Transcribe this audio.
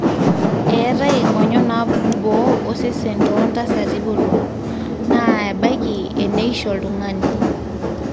eetai ing'onyo naapuku boo osesen too ntasati botorok naa ebaki eneisho oltung'ani